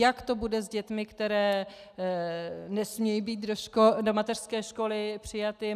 Jak to bude s dětmi, které nesmějí být do mateřské školy přijaty?